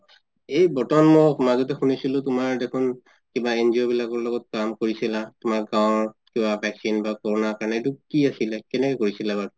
এই বৰ্তমান মোৰ মাজতে শুনিছিলো তুমাৰ দেখুন কিবা NGO বিলাকৰ লগত কাম কৰিছিলা তুমাৰ গাওঁৰ কিবা vaccine বা কৰুণা কাৰণে এইটো কি আছিলে কেনেকে কৰিছিলা এইটো